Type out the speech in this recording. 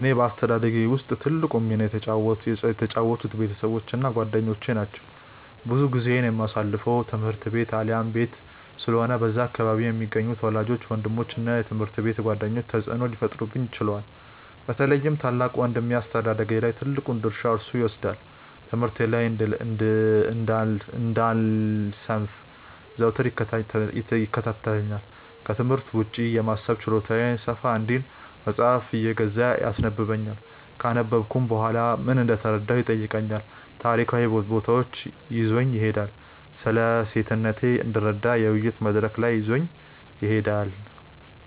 በእኔ አስተዳደግ ውስጥ ትልቁን ሚና የተጫወቱት ቤተሰቦቼ እና ጓደኞቼ ናቸው። ብዙ ጊዜዬን የማሳልፈው ትምህርት ቤት አሊያም ቤት ስለሆነ በዛ አካባቢ የሚገኙት ወላጆቼ፤ ወንድሞቼ እና የትምሀርት ቤት ጓደኞቼ ተጽእኖ ሊፈጥሩብኝ ችለዋል። በተለይም ታላቅ ወንድሜ አስተዳደጌ ላይ ትልቁን ድርሻ እርሱ ይወስዳል። ትምህርቴ ላይ እንዳልሰንፍ ዘወትር ይከታተለኛል፤ ክትምህርት ውጪ የማሰብ ችሎታዬ ሰፋ እንዲል መጽሃፍ እየገዛ ያስነበብኛል፤ ካነበብኩም በኋላ ምን እንደተረዳሁ ይጠይቀኛል፤ ታሪካዊ ቦታዎች ይዞኝ ይሄዳል፤ ስለሴትነቴ እንድረዳ የውይይት መድረክ ላይ ይዞኝ ይሄዳል።